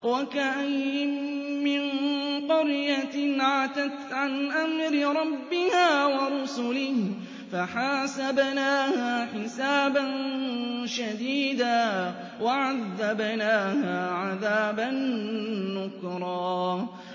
وَكَأَيِّن مِّن قَرْيَةٍ عَتَتْ عَنْ أَمْرِ رَبِّهَا وَرُسُلِهِ فَحَاسَبْنَاهَا حِسَابًا شَدِيدًا وَعَذَّبْنَاهَا عَذَابًا نُّكْرًا